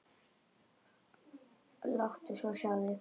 Og láttu svo sjá þig.